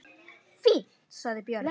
Fínt, sagði Björn.